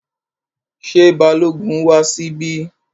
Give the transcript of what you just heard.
Ṣé Balógun wá síbí?